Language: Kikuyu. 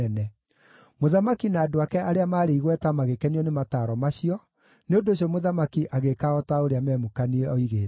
Mũthamaki na andũ ake arĩa maarĩ igweta magĩkenio nĩ mataaro macio, nĩ ũndũ ũcio mũthamaki agĩĩka o ta ũrĩa Memukani oigĩte.